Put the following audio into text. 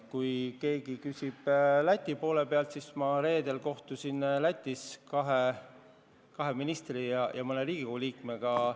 Kui keegi küsib Läti kohta, siis ma reedel kohtusin Lätis kahe ministri ja mõne parlamendiliikmega.